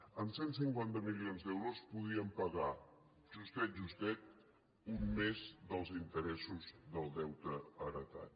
amb cent i cinquanta milions d’euros podíem pagar justet justet un mes dels interessos del deute heretat